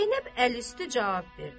Zeynəb əl üstü cavab verdi.